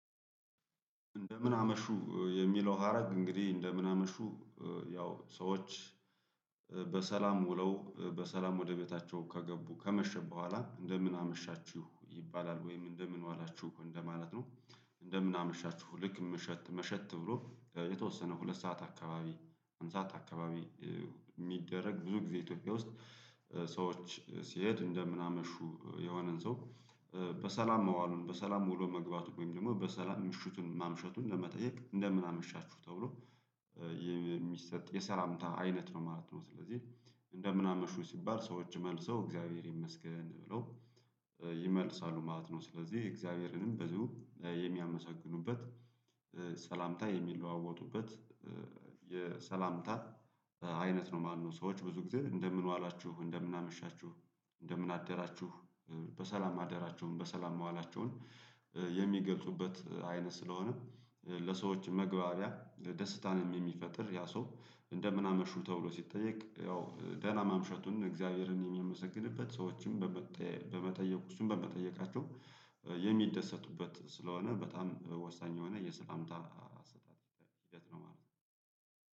እንደምን አመሹ የሚለው ሀረግ እንግዲህ እንደምን አመሹ ያው ሰዎች በሰላም ውለው በሰላም ወደ ቤታቸው ከገቡ ከመሸ በኋላ እንደምን አመሻችሁ ይባላል ወይም እንደምን ዋላችሁ እንደማለት ነው። እንደምን አመሻችሁ ልክ መሸት መሸት ብሎ የተወሰነ ሁለት ሰዓት አካባቢ አንድ ሰዓት አካባቢ የሚደረግ ብዙ ጊዜ ኢትዮጵያ ውስጥ ሰዎች ሲሄድ እንደምናመሹ የሆነን ሰው በሰላም መዋሉን በሰላም ውሎ መግባቱን ወይም ደግሞ በሰላም ምሽቱን ማምሸቱን ለመጠየቅ እንደምን አመሻችሁ ተብሎ የሚሰጥ የሰላምታ አይነት ነው ማለት ነው። ስለዚህ እንደምን አመሹ ሲባል ሰዎች መልሰው እግዚአብሔር ይመስገን ብለው ይመልሳሉ ማለት ነው ስለዚህ እግዚአብሔርንም በዚሁ የሚያመሰግኑበት ሰላምታ የሚለዋወጡበት የሰላምታት አይነት ነው ማለት ነው። ሰዎች ብዙ ጊዜ እንደምን ዋላችሁ እንደምን አመሻችሁ እንደምን አደራችሁ በሰላም ማደራቸውን በሰላም መዋላቸውን የሚገልጹበት አይነት ስለሆነ ለሰዎች መግባቢያ ደስታንም የሚፈጥር ያ ሰው እንደምን አመሹ ተብሎ ሲጠየቅ ያው ደህና ማምሸቱን እግዚአብሔርን የሚያመሰግንበት ሰዎችን በመጠየቅ እሱን በመጠየቃቸው የሚደሰቱበት ስለሆነ በጣም ወሳኝ የሆነ የሰላምታ አሰጣጥ ሂደት ነው ማለት ነው።